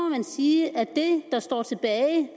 man sige at det der står tilbage